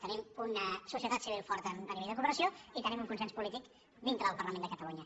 tenim una societat civil forta a nivell de cooperació i tenim un consens polític din tre del parlament de catalunya